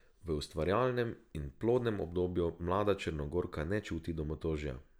V ustvarjalnem in plodnem obdobju mlada Črnogorka ne čuti domotožja.